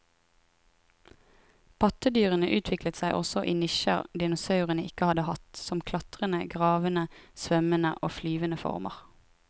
Pattedyrene utviklet seg også i nisjer dinosaurene ikke hadde hatt, som klatrende, gravende, svømmende og flyvende former.